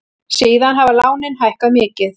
Síðan hafa lánin hækkað mikið.